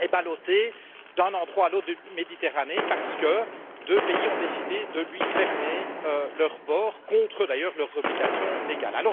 est ballotté d'un endroit à l'autre de la Méditerranée parce que deux pays ont décidé de lui fermer leurs ports, en violation, d'ailleurs, de leurs obligations légales.